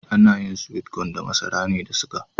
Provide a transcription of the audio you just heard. Ana yin (sweet cone) da masara ne da suga.